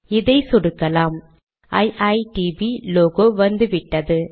இதை சொடுக்கலாம்iitb லோகோ வந்துவிட்டது